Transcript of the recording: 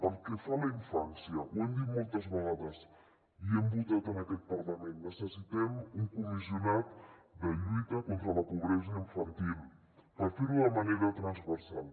pel que fa a la infància ho hem dit moltes vegades i ho hem votat en aquest parlament necessitem un comissionat de lluita contra la pobresa infantil per fer·ho de manera transversal